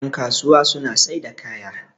yankasuwa suna sai da kaya